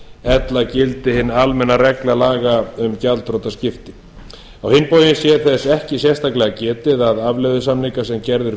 ella gilti hin almenna regla laga um gjaldþrotaskipti á hinn bóginn sé þess ekki sérstaklega getið að afleiðusamningar sem gerðir